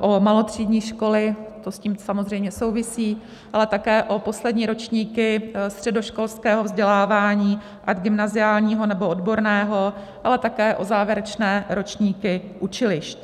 o malotřídní školy, to s tím samozřejmě souvisí, ale také o poslední ročníky středoškolského vzdělávání ať gymnaziálního, nebo odborného, ale také o závěrečné ročníky učilišť.